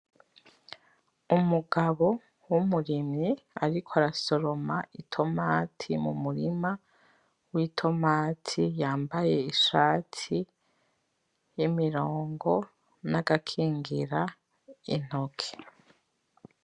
Umugabo w'umurimyi ariko arasoroma itomati mumurima w'itomati yambaye ishati y'imirongo nagakingira intoke